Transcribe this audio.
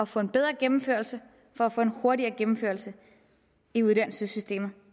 få en bedre gennemførelse for at få en hurtigere gennemførelse i uddannelsessystemet